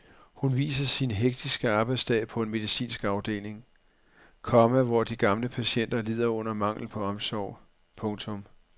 Hun viser sin hektiske arbejdsdag på en medicinsk afdeling, komma hvor de gamle patienter lider under manglen på omsorg. punktum